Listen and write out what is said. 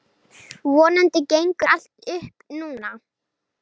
Vonandi gengur allt upp núna.